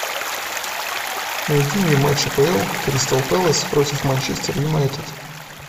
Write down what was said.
найди мне матч апл кристал пэлас против манчестер юнайтед